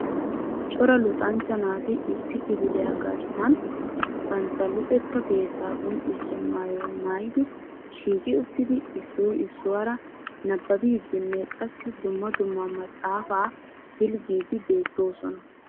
Cora luxanchcha naati issi kifiliyaa garssan bantta luxetta keetta qonccissiya maayyuwa maayyidi shiiqi uttidi issoy issuwaara nababbidinne qassi dumma dumma maxaafa pilggidi beettoosona.